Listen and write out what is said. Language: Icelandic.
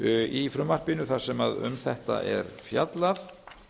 í frumvarpinu nohh þar sem um þetta er fjallað